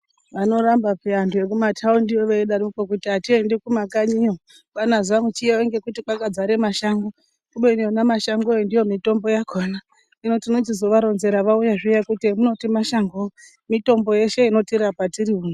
Vanoramba paani antu ekumataundiyo veidaroko kuti atiendi kumakanyiyo kwaana Zamchiyayo ngekuti kwakadzare mashango kubeni ona mashangowo ndiyo mitombo yakhona hino tinochizovaronzera vauya zviya kuti emunoti mashangowo mitombo yeshe inotirapa tiriuno.